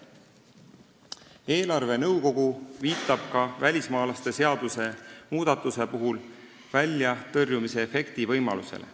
Eelarvenõukogu viitab ka välismaalaste seaduse muudatuse puhul väljatõrjumisefekti võimalusele.